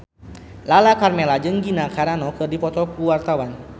Lala Karmela jeung Gina Carano keur dipoto ku wartawan